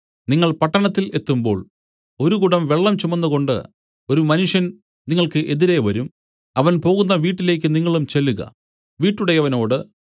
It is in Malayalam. നിങ്ങൾ പട്ടണത്തിൽ എത്തുമ്പോൾ ഒരു കുടം വെള്ളം ചുമന്നുകൊണ്ടു ഒരു മനുഷ്യൻ നിങ്ങൾക്ക് എതിരെ വരും അവൻ പോകുന്ന വീട്ടിലേക്ക് നിങ്ങളും ചെല്ലുക വീട്ടുടയവനോട്